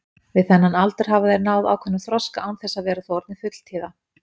Við þennan aldur hafa þeir náð ákveðnum þroska án þess þó að vera orðnir fulltíða.